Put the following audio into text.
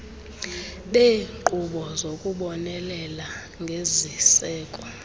beeenkqubo zokubonelela ngeziseko